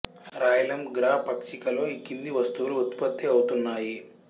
రాయలం గ్రా పక్షిక లో ఈ కింది వస్తువులు ఉత్పత్తి అవుతున్నాయి